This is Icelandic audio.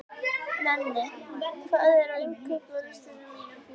Nenni, hvað er á innkaupalistanum mínum?